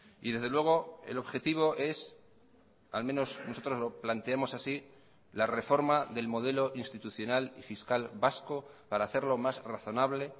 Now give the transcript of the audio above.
y desde luego el objetivo es al menos nosotros lo planteamos así la reforma del modelo institucional y fiscal vasco para hacerlo más razonable